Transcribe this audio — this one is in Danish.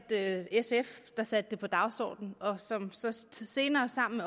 sf der satte det på dagsordenen og som så senere sammen